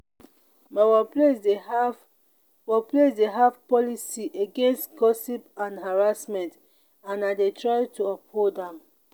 my workplace dey have workplace dey have policy against gossip and harassment and i dey try to uphold am.